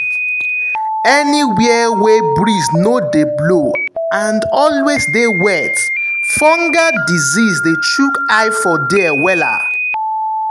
anywhere wey breeze no dey blow and always dey wet fungal disease dey chook eye for there wella.